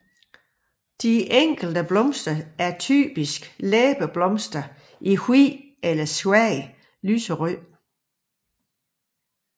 De enkelte blomster er typiske læbeblomster i hvidt eller svagt lyserødt